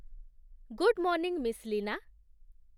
Good morning, Miss Lina!